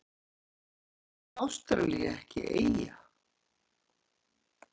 Af hverju er Ástralía ekki eyja?